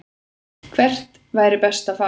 Hvert væri best að fara?